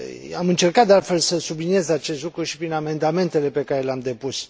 Am încercat, de altfel, să subliniez acest lucru și prin amendamentele pe care le am depus.